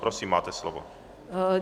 Prosím, máte slovo.